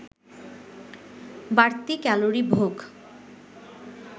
বাড়তি ক্যালোরি ভোগ